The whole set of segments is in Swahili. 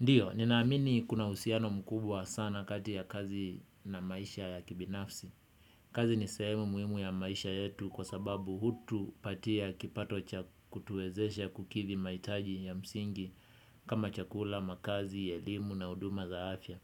Ndiyo, ninaamini kuna uhusiano mkubwa sana kati ya kazi na maisha ya kibinafsi. Kazi ni sehemu muhimu ya maisha yetu kwa sababu hutu patia kipatocha kutuwezesha kukidhi mahitaji ya msingi kama chakula, makazi, elimu na huduma zaafya.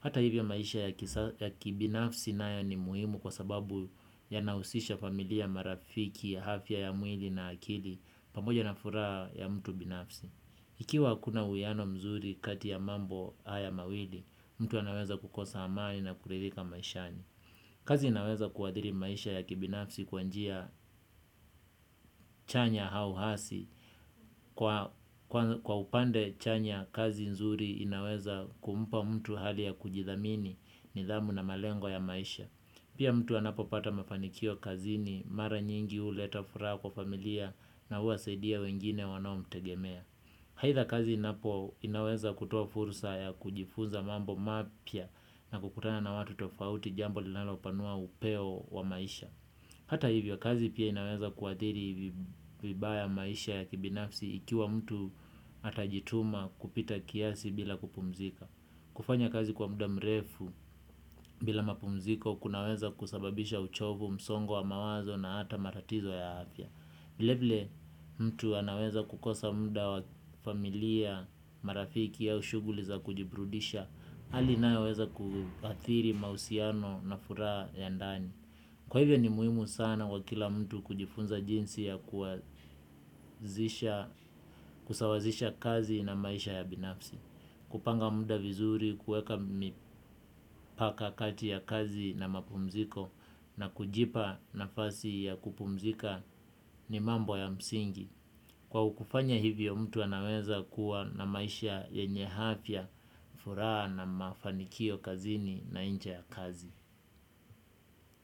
Hata hivyo maisha ya kibinafsi na yo ni muhimu kwa sababu ya nahusisha familia marafiki, afya ya mwili na akili pamoja na furaha ya mtu binafsi. Ikiwa hakuna uwiyano mzuri kati ya mambo haya mawili, mtu anaweza kukosa amani na kuridhika maishani. Kazi inaweza kuadhiri maisha ya kibinafsi kwanjia chanya auhasi. Kwa upande chanya, kazi nzuri inaweza kumpa mtu hali ya kujidhamini ni dhamu na malengo ya maisha. Pia mtu anapopata mafanikio kazini, mara nyingi huleta furaha kwa familia na huwasaidia wengine wanao mtegemea. Aidha kazi inapo inaweza kutoa fursa ya kujifunza mambo mapya na kukutana na watu tofauti jambo linalo panua upeo wa maisha. Hata hivyo kazi pia inaweza kuadhiri vibaya maisha ya kibinafsi ikiwa mtu atajituma kupita kiasi bila kupumzika. Kufanya kazi kwa muda mrefu bila mapumziko kunaweza kusababisha uchovu msongo wa mawazo na hata matatizo ya afya. Vilevile mtu anaweza kukosa muda wa familia marafiki aushughuli za kujiburudisha. Hali nayoweza kuadhiri mahusiano na furaha ya ndani. Kwa hivyo ni muhimu sana kwa kila mtu kujifunza jinsi ya kusawazisha kazi na maisha ya binafsi. Kupanga muda vizuri, kuweka mipaka kati ya kazi na mapumziko na kujipa nafasi ya kupumzika ni mambo ya msingi. Kwa kufanya hivyo mtu anaweza kuwa na maisha yenye afya, furaha na mafanikio kazini na nje ya kazi.